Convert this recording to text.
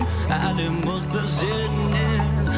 әлем мықты сеннен